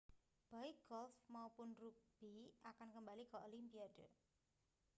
baik golf maupun rugbi akan kembali ke olimpiade